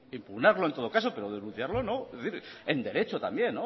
impugnarlo en todo caso pero denunciarlo no es decir en derecho también